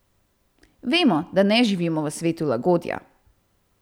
Vemo, da ne živimo v svetu lagodja.